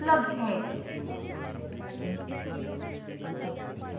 यह script विकास द्वारा अनुवादित है